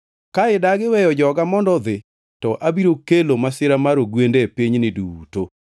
Ka idagi weyo joga mondo odhi, to abiro kelo masira mar ogwende e pinyni duto.